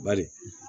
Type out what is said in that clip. Bari